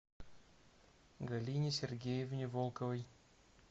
галине сергеевне волковой